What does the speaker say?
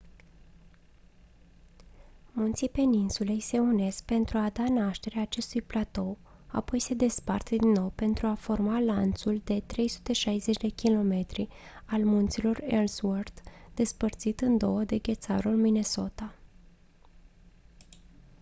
munții peninsulei se unesc pentru a da naștere acestui platou apoi se despart din nou pentru a forma lanțul de 360 km al munților ellsworth despărțit în două de ghețarul minnesota